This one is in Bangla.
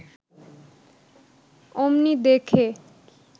অমনি দেখে